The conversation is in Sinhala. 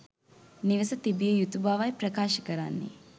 නිවස තිබිය යුතු බවයි ප්‍රකාශ කරන්නේ.